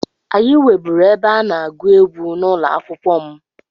Anyị nweburu ebe a na-agụ egwu n'ụlọ akwụkwọ m.